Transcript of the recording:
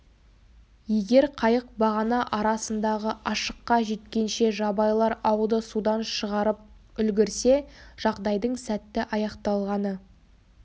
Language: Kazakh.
егер қайық бағана арасындағы ашыққа жеткенше жабайылар ауды судан шығарып үлгірсе жағдайдың сәтті аяқталғаны